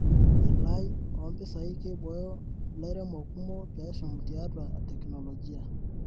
Elai oo mpisai keiboyo lairemok kumok peshum tiatua teknologia.